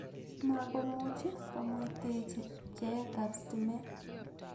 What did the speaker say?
Makomuuchi komuiteechi bcheetaab sitimeet